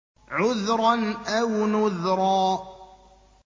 عُذْرًا أَوْ نُذْرًا